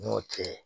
N'o cɛ